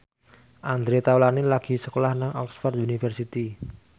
Andre Taulany lagi sekolah nang Oxford university